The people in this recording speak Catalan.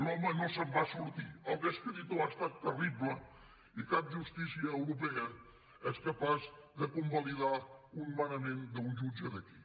l’home no se’n va sortir el descredito ha estat terrible i cap justícia europea és capaç de convalidar un manament d’un jutge d’aquí